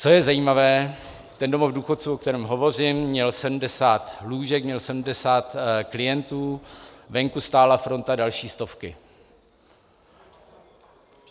Co je zajímavé, ten domov důchodců, o kterém hovořím, měl 70 lůžek, měl 70 klientů, venku stála fronta další stovky.